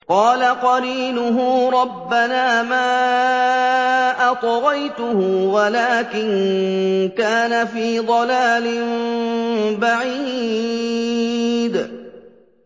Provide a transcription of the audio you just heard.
۞ قَالَ قَرِينُهُ رَبَّنَا مَا أَطْغَيْتُهُ وَلَٰكِن كَانَ فِي ضَلَالٍ بَعِيدٍ